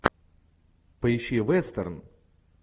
поищи вестерн